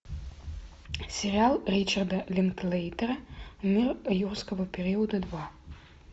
сериал ричарда линклейтера мир юрского периода два